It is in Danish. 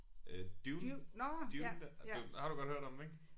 Øh Dune Dune det har du godt hørt om den ik